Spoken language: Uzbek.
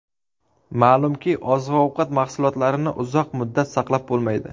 Ma’lumki, oziq-ovqat mahsulotlarini uzoq muddat saqlab bo‘lmaydi.